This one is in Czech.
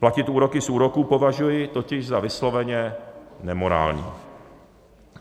Platit úroky z úroků považuji totiž za vysloveně nemorální.